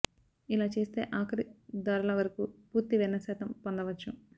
ఇలా చేస్తే ఆఖరి ధారల వరకు పూర్తి వెన్న శాతం పొందవచ్చు